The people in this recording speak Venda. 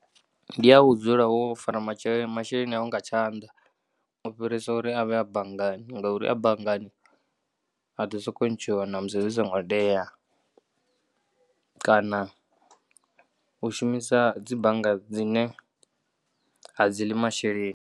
Ndiya u dzula wo fara matshe masheleni awu nga tshanḓa ufhirisa uri avhe a banngani ngauri a banngani a ḓo soko ntshiwa namusi zwi songo tea kana u shumisa dzi bannga dzine adziḽi masheleni.